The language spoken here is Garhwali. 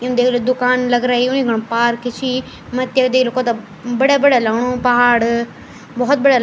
यम देख लो दुकान लग रई उन यखन पार्क छी मथ्या देख लो कथ्या बढ़िया बढ़िया लगणु पहाड़ भोत बढ़िया --